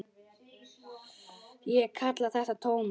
Ég kalla þetta tómið.